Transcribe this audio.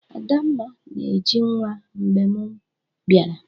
Adamma na-eji nwa mgbe mụ biara